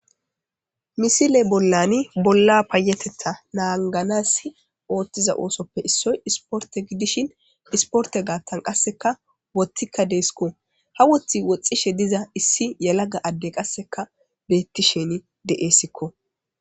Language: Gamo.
Misile bollani bolla payetetta naanganasi ooththiza oosoppe issoy isporte gidishin isporte gaattan qasseka wottikka deesikko ha wothi woxxishe diza issi yalaga adde qasseka beetti sheni de7eessikko.